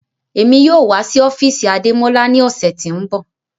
Emi yoo wa si ofiisi Ademọla ni ọsẹ ti n bọ